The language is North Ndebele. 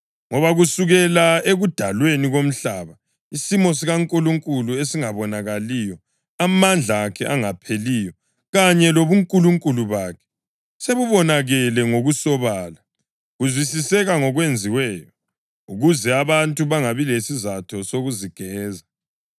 Ngoba kusukela ekudalweni komhlaba isimo sikaNkulunkulu esingabonakaliyo, amandla akhe angapheliyo kanye lobuNkulunkulu bakhe, sekubonakele ngokusobala, kuzwisiseka ngokwenziweyo, ukuze abantu bangabi lasizatho sokuzigeza.